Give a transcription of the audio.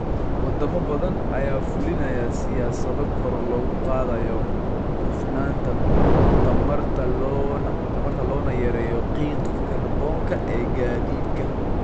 Wadamo badan ayaa fulinaya siyaasado kor loogu qaadayo hufnaanta tamarta loona yareeyo qiiqa kaarboonka ee gaadiidka.